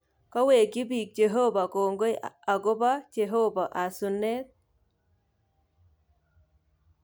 Kowekyi biik cheehoba koingoi ako lpo cheehoba asunet